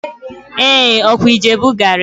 Ee! Ọ kwa Ijebu gari